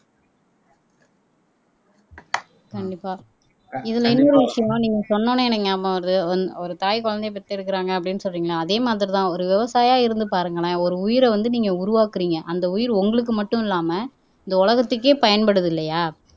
கண்டிப்பா இதுல இன்னொரு விஷயம் நீங்க சொன்ன உடனே எனக்கு ஞாபகம் வருது ஒன் ஒரு தாய் குழந்தையை பெத்தெடுக்குறாங்க அப்படின்னு சொல்றீங்களே அதே மாதிரிதான் ஒரு விவசாயியா இருந்து பாருங்களேன் ஒரு உயிரை வந்து நீங்க உருவாக்குறீங்க அந்த உயிர் உங்களுக்கு மட்டும் இல்லாம இந்த உலகத்துக்கே பயன்படுது இல்லையா